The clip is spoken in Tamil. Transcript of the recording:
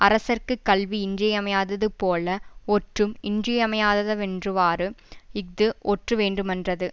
அரசர்க்கு கல்வி இன்றிமையாததுபோல ஒற்றும் இன்றிமையாததவென்றுவாறு இஃது ஒற்றுவேண்டுமென்றது